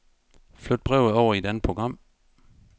Flyt brevet over i et andet program.